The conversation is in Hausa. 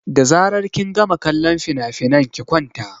Da zaran kin gama kallon finafinan ki kwanta!